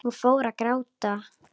Hún fór að gráta.